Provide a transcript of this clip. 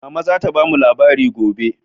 Mama za ta bamu labari gobe.